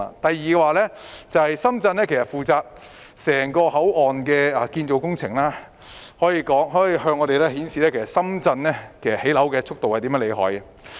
第二，深圳負責整個口岸的建造工程，向我們展示出深圳的建造樓宇速度多麼厲害。